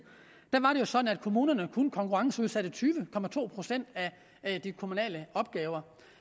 var det sådan at kommunerne kun konkurrenceudsatte tyve procent af de kommunale opgaver